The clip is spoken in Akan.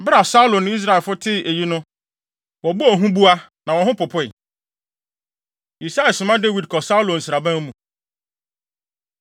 Bere a Saulo ne Israelfo tee eyi no wɔbɔɔ huboa na wɔn ho popoe. Yisai Soma Dawid Kɔ Saulo Nsraban Mu